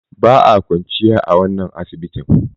Ba a kwanciya a wannan asibitin.